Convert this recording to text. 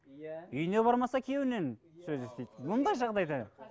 иә үйіне бармаса күйеуінен сөз естиді мұндай жағдайда